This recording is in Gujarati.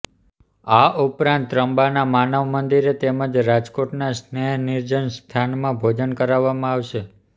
આ ઉપરાંત ત્રંબાના માનવ મંદિરે તેમજ રાજકોટના સ્નેહ નિર્જન સંસ્થામાં ભોજન કરાવવામાં આવશે